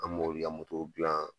An b'olu ya motow dilan